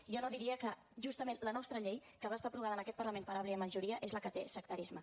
jo no diria que justament la nostra llei que va ser aprovada en aquest parlament per àmplia majoria és la que té sectarisme